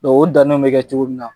Dɔnki o danenw bɛ kɛ cogo min na